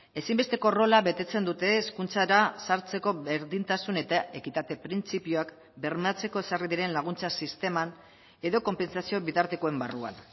ezinbesteko rola betetzen dute hezkuntzara sartzeko berdintasun eta ekitate printzipioak bermatzeko ezarri diren laguntza sisteman edo konpentsazioen bitartekoen barruan